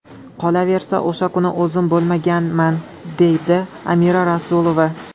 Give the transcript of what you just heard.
Qolaversa, o‘sha kuni o‘zim bo‘lmaganman”, dedi Amira Rasulova.